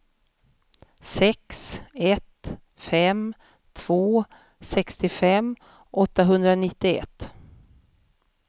sex ett fem två sextiofem åttahundranittioett